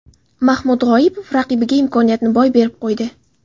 Mahmud G‘oipov raqibiga imkoniyatni boy berib qo‘ydi.